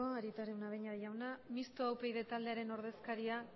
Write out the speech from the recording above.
arieta araunabeña jauna mistoa upyd taldearen ordezkaria